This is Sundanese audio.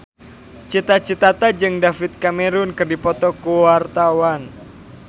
Cita Citata jeung David Cameron keur dipoto ku wartawan